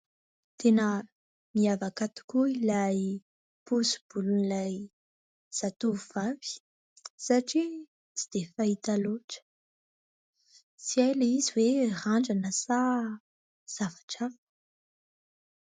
Tena miavaka tokoa ilay pozim-bolon' ilay tovovavy satria tsy dia fahita loatra. Tsy hay lay izy hoe randrana sa zavatra hafa ?